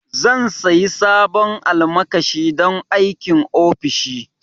Zan sayi sabon alƙalami don aikin ofishi